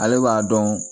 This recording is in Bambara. Ale b'a dɔn